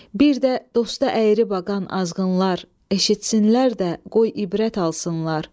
Bir də dosta əyri baqan azğınlar eşitsinlər də qoy ibrət alsınlar.